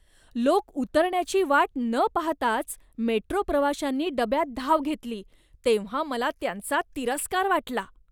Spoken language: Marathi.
लोक उतरण्याची वाट न पाहताच मेट्रो प्रवाशांनी डब्यात धाव घेतली तेव्हा मला त्यांचा तिरस्कार वाटला.